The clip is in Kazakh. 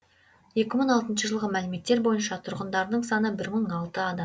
екі мың алтыншы жылғы мәліметтер бойынша тұрғындарының саны бір мың алты адам